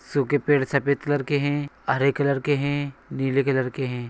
सूखे पेड़ सफेद कलर के है हरे कलर के है नीले कलर के है।